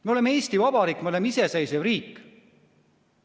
Me oleme Eesti Vabariik, me oleme iseseisev riik.